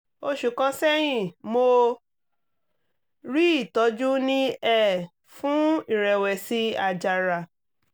oṣù kan sẹ́yìn mo rí ìtọ́jú ní um fún ìrẹ̀wẹ̀sì àjàrà